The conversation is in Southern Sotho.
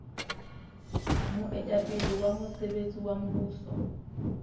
moetapele wa mosebetsi wa mmuso